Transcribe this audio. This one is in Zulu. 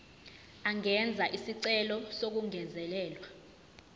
angenza isicelo sokungezelelwa